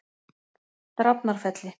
Drafnarfelli